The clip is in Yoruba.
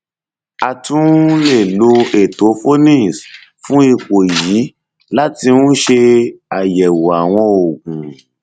a tún um lè lo ètò phoenix fún ipò yìí láti um ṣe àyẹwò àwọn oògùn